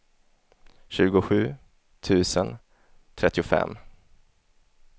tjugosju tusen trettiofem